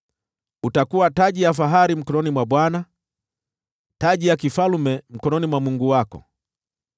Utakuwa taji ya fahari mkononi mwa Bwana , taji ya kifalme mkononi mwa Mungu wako.